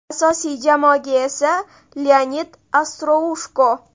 Asosiy jamoaga esa Leonid Ostroushko.